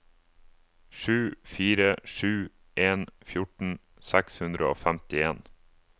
sju fire sju en fjorten seks hundre og femtien